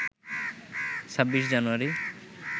২৬ জানুয়ারি